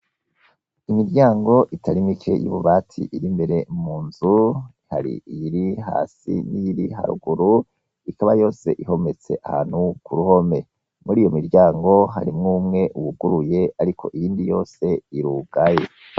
Imiryango itarimike y'ububati iri mbere mu nzu hari iyiri hasi n'iyoiri haruguru ikaba yose ihometse ahantu ku ruhome muri iyo miryango harimwo umwe uwuguruye, ariko iyindi yose iri ugaye.